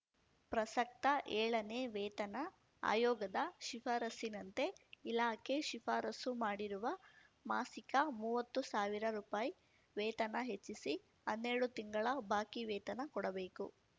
ಪ್ರಸಕ್ತ ಏಳನೆ ವೇತನ ಆಯೋಗದ ಶಿಫಾರಸ್ಸಿನಂತೆ ಇಲಾಖೆ ಶಿಫಾರಸ್ಸು ಮಾಡಿರುವ ಮಾಸಿಕ ಮುವ್ವತ್ತು ಸಾವಿರ ರುಪಾಯಿ ವೇತನ ಹೆಚ್ಚಿಸಿ ಹನ್ನೆರಡು ತಿಂಗಳ ಬಾಕಿ ವೇತನ ಕೊಡಬೇಕು